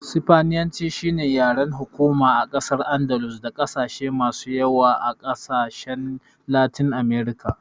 Sifaniyanci shine yaren hukuma a ƙasar Andalus da ƙasashen masu yawa a ƙasashen a Latin Amurka.